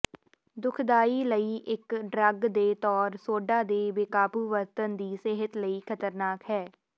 ਦੁਖਦਾਈ ਲਈ ਇੱਕ ਡਰੱਗ ਦੇ ਤੌਰ ਸੋਡਾ ਦੇ ਬੇਕਾਬੂ ਵਰਤਣ ਦੀ ਸਿਹਤ ਲਈ ਖ਼ਤਰਨਾਕ ਹੈ